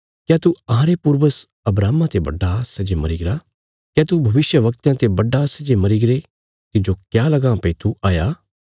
क्या तू अहांरे पूर्वज अब्राहमा ते बड्डा सै जे मरीगरा क्या तू भविष्यवक्तयां ते बड्डा सै जे मरीगरे तिज्जो क्या लगां भई तू हाया